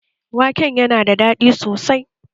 Waken yana da daɗi sosai